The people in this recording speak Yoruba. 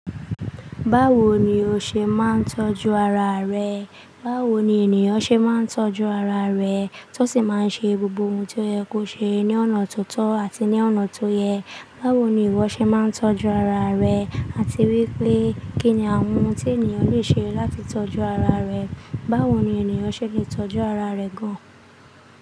Báwo ni o ṣe máa ń tọ́jú ara rẹ? Báwo ni ènìyàn ṣe máa ń tọ́jú ara rẹ̀, tí o sì máa ń ṣe gbogbo ohun tí o ye kó ṣe ní ọ̀nà tó tọ́ àti ní ọ̀nà tó yẹ. Báwo ni ìwọ ṣe máa ń tọ́jú ara rẹ, àti wípé kí ni àwọn ohun tí ènìyàn le ṣe láti tọ́jú ara rẹ̀. Báwo ni ènìyàn ṣe lè tọ́jú ara rẹ̀ gan an?